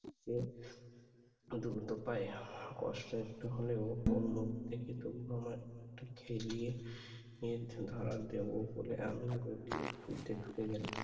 যে দ্রুত পায়ে কষ্ট একটু হলেও ওর মুখ থেকে তবু আমার একটু খেলিয়ে নিজ ধারা দেব বলে আমি গলির মধ্যে ঢুকে গেলাম।